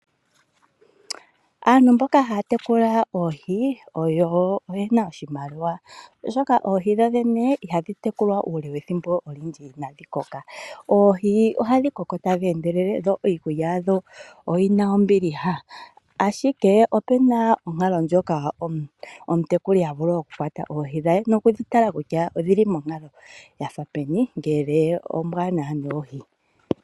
Aantu mboka haa tekula oohi oyo oyena oshimaliwa oshoka oohi dho dhene ihadhi tekulwa uule we thimbo olindji iinadhi koka oohi ohadhi koko tadhi endelele dho iikulya yawo oyina ombiliha ashike opena onkalo yimwe moka omutekuli ta vulu okukwata oohi etedhi tala kutya odhi li monkalo yili ngiini ngele ombaanawa noohi.